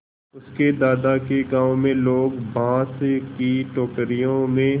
उसके दादा के गाँव में लोग बाँस की टोकरियों में